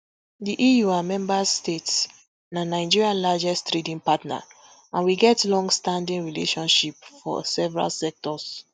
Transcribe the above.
di eu and member states na nigeria largest trading partner and we get longstanding relationship for several sectors